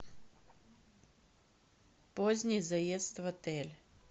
поздний заезд в отель